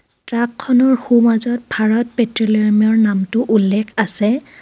Truck খনৰ সোমাজত ভাৰত পেট্ৰোলিয়াম ৰ নামটো উল্লেখ আছে.